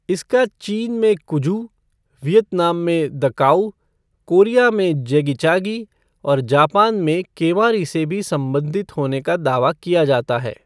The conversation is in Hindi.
इसका चीन में कुजू, वियतनाम में दॅ काऊ, कोरिया में जेगिचागी और जापान में केमारी से भी संबंधित होने का दावा किया जाता है।